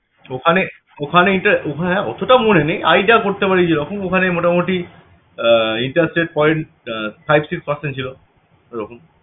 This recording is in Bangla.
ওখানে ওখানে ইন্টা~ ওখানে অতটা মনে নেই idea করতে পারি যে ওখন ওখানে মোটামটি আহ rate point five six percant ছিল